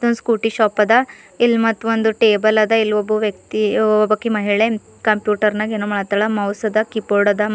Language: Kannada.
ಇದೊಂದು ಸ್ಕೂಟಿ ಶಾಪ್ ಅದ ಇಲ್ ಮತ್ತ್ ಒಂದು ಟೇಬಲ್ ಅದ ಇಲ್ ಒಬ್ಬ ವ್ಯಕ್ತಿ ಒಬ್ಬಾಕಿ ಮಹಿಳೆ ಕಂಪ್ಯೂಟರ್ ನಾಗ್ ಏನೋ ಮಾಡತ್ತಾಳ ಮೌಸ್ ಅದ ಕೀ ಬೋರ್ಡ್ ಅದ ಮ --